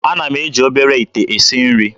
Ana m eji obere ite esi nri.